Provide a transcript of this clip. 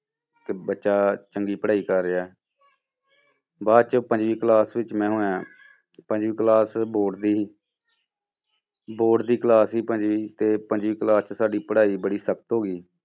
ਕਿ ਬੱਚਾ ਚੰਗੀ ਪੜ੍ਹਾਈ ਕਰ ਰਿਹਾ ਬਾਅਦ 'ਚ ਪੰਜਵੀਂ class ਵਿੱਚ ਮੈਂ ਹੋਇਆਂ, ਪੰਜਵੀਂ class board ਦੀ ਸੀ board ਦੀ class ਸੀ ਪੰਜਵੀਂ ਤੇ ਪੰਜਵੀਂ class 'ਚ ਸਾਡੀ ਪੜ੍ਹਾਈ ਬੜੀ ਸਖ਼ਤ ਹੋ ਗਈ।